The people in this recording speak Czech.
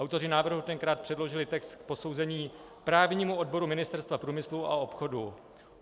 Autoři návrhu tenkrát předložili text k posouzení právnímu odboru Ministerstva průmyslu a obchodu.